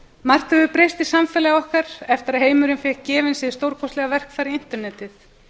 margt hefur breyst í samfélagi okkar eftir að heimurinn fékk gefins hið stórkostlega verkfæri internetið